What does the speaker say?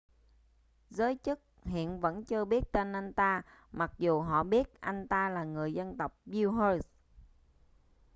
giới chức hiện vẫn chưa biết tên anh ta mặc dù họ biết anh ta là người dân tộc uighur